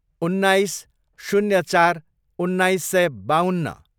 उन्नाइस, शून्य चार, उन्नाइस सय बाउन्न